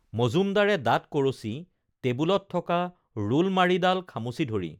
মজুমদাৰে দাতঁ কৰচি টেবুলত থকা ৰুলমাৰিডাল খামুচি ধৰি